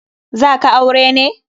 Za ka aure ne?